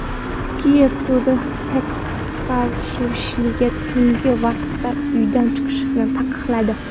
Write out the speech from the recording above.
Kiyev sudi Saakashviliga tungi vaqtda uydan chiqishni taqiqladi.